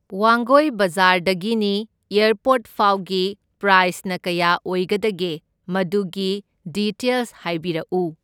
ꯋꯥꯡꯒꯣꯢ ꯕꯖꯥꯔꯗꯒꯤꯅꯤ ꯑꯦꯔꯄꯣꯔꯠ ꯐꯥꯎꯒꯤ ꯄ꯭ꯔꯥꯢꯁꯅ ꯀꯌꯥ ꯑꯣꯏꯒꯗꯒꯦ? ꯃꯗꯨꯒꯤ ꯗꯤꯇꯦꯜꯁ ꯍꯥꯏꯕꯤꯔꯛꯎ꯫